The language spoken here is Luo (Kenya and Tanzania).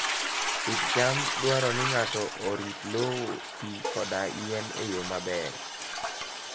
Pidh cham dwaro ni ng'ato orit lowo, pi, koda yien e yo maber.